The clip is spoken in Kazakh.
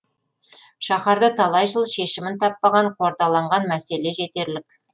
шаһарда талай жыл шешімін таппаған қордаланған мәселе жетерлік